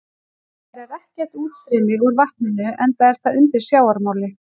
Hins vegar er ekkert útstreymi úr vatninu enda er það undir sjávarmáli.